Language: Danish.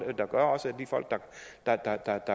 der gør også af de folk der